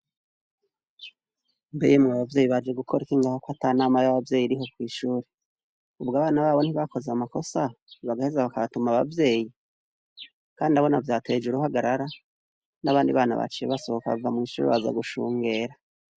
Mbe mubavyeyi baje gukora iki ngaho ko ata nama y'abavyeyi ririho kw'ishuri ubwo abana babo ntibakoze amakosa bagaheza bakatuma abavyeyi, kandi urabona vyateje uruhagarara n'abandi bana baciye basohoka bava mw'ishuri baza gushungera.